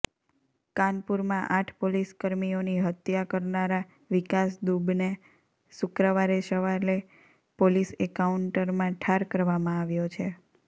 કાનપુરમાં આઠ પોલીસકર્મીઓની હત્ય કરનારા વિકાસ દુબને શુક્રવારે સવાલે પોલીસ એન્કાઉન્ટરમાં ઠાર કરવામાં આવ્યો છે